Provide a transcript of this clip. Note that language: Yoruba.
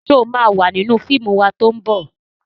Ṣo ma wà nínú fíìmù wa tó ń bọ̀?